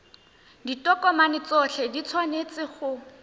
ditokomane tsotlhe di tshwanetse go